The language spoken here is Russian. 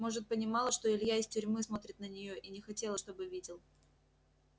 может понимала что илья из тюрьмы смотрит на нее и не хотела чтобы видел